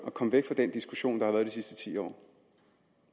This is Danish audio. at komme væk fra den diskussion der har været de sidste ti år